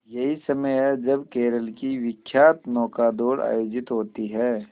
यही समय है जब केरल की विख्यात नौका दौड़ आयोजित होती है